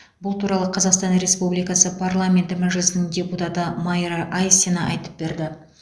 бұл туралы қазақстан республикасы парламенті мәжілісінің депутаты майра айсина айтып берді